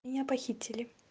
меня похитили